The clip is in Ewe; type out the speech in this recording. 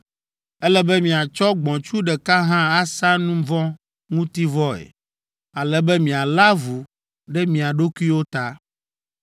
Ele be miatsɔ gbɔ̃tsu ɖeka hã asa nu vɔ̃ ŋuti vɔe, ale be mialé avu ɖe mia ɖokuiwo ta.